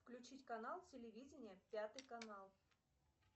включить канал телевидение пятый канал